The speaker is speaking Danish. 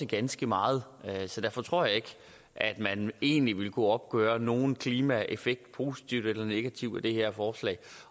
ganske meget derfor tror jeg ikke at man egentlig vil kunne opgøre nogen klimaeffekt positiv eller negativ af det her forslag